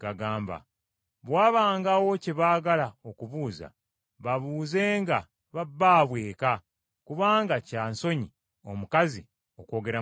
Bwe wabangawo kye baagala okubuuza babuuzenga ba bbaabwe eka, kubanga kya nsonyi omukazi okwogera mu Kkanisa.